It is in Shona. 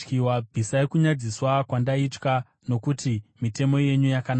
Bvisai kunyadziswa kwandaitya, nokuti mitemo yenyu yakanaka.